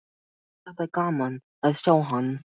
Mér þætti gaman að sjá hann.